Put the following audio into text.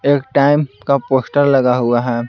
एक टाइम का पोस्टर लगा हुआ है।